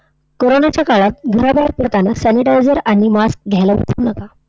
कोरोनाच्या काळात घराबाहेर पडताना sanitizer आणि mask घ्यायला विसरू नका.